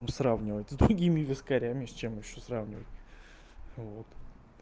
ну сравнивать с другими вискарями с чем ещё сравнивать вот